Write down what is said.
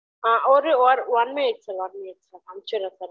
அ ஒரெ ஒர் one minute one minute sir அனுப்சிரென் sir